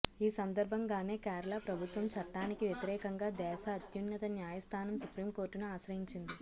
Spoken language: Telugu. ఈ సందర్భంగానే కేరళ ప్రభుత్వం చట్టానికి వ్యతిరేకంగా దేశ అత్యున్నత న్యాయస్థానం సుప్రీంకోర్టును ఆశ్రయించింది